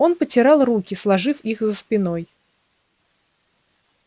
он потирал руки сложив их за спиной